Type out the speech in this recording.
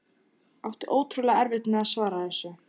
Átti ótrúlega erfitt með að svara þessu.